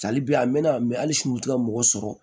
Hali bi a mɛna mɛ hali sini u ti ka mɔgɔ sɔrɔ